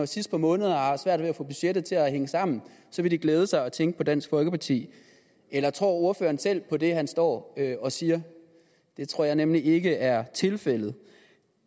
sidst på måneden har svært ved at få budgettet til at hænge sammen vil glæde sig og tænke på dansk folkeparti eller tror ordføreren selv på det han står og siger det tror jeg nemlig ikke er tilfældet